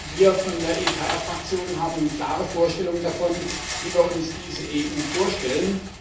Wir von der ECR Fraktion haben klare Vorstellungen davon, wie wir uns diese EU vorstellen.